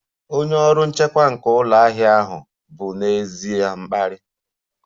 Onye ọrụ nchekwa nke ụlọ ahịa ahụ bụ n'ezie mkparị